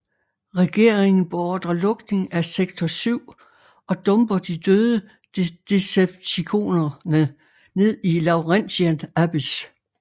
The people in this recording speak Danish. Regeringen beordre lukning af Sektor 7 og dumper de døde Decepticonerne ned i Laurentian Abyss